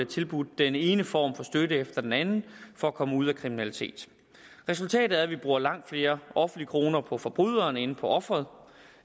tilbudt den ene form for støtte efter den anden for at komme ud af kriminaliteten resultatet er at vi bruger langt flere offentlige kroner på forbryderen end på offeret